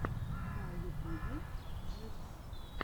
на ютубе джикс